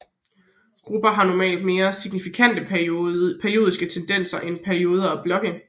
Grupper har normalt mere signifikante periodiske tendenser end perioder og blokke